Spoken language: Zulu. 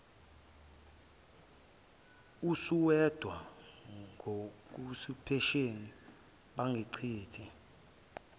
usuwedwa ngokuyisipesheni bangichitha